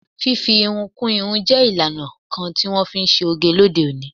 Fifi irun kú irun je ìlànà kan ti wọn fi ṣe oge lóde òní.